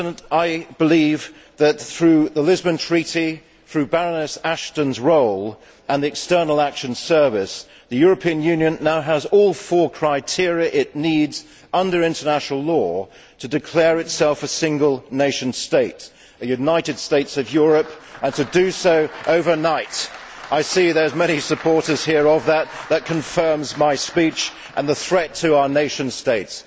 I believe that through the Lisbon Treaty, through Baroness Ashton's role and the External Action Service, the European Union now has all four criteria it needs under international law to declare itself a single nation state a United States of Europe and to do so overnight. I see there are many supporters here of that that confirms my speech and the threat to our nation states!